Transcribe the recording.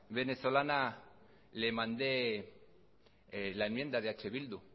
venezolana le mandé la enmienda de eh bildu